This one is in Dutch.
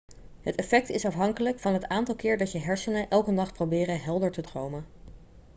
het effect is afhankelijk van het aantal keer dat je hersenen elke nacht proberen helder te dromen